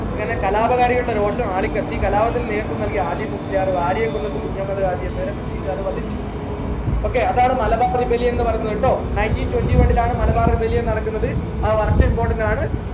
അങ്ങനെ കലാപകാരികളെ രോക്ഷം ആളിക്കത്തി കലാപത്തിന് നേതൃത്വം നൽകിയ ആലി മുസ്ലിയാർ വാര്യൻ കുന്നത്ത് കുഞ്ഞഹമ്മദ് എന്നവരെ British കാർ വധിച്ചു okay അതാണ് മലബാർ rebellion ന്ന് പറയുന്നത് ട്ടോ nineteen twentyone ലാണ് മലബാർ rebellion നടക്കുന്നത് ആ വർഷം important ആണ്